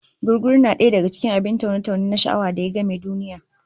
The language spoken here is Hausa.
Gugguru na daya daka cikin abin taune-taune na sha'awa da ya game duniya